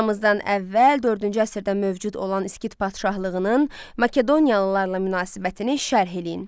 Eramızdan əvvəl dördüncü əsrdə mövcud olan İskit padşahlığının Makedoniyalılarla münasibətini şərh eləyin.